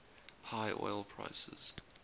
high oil prices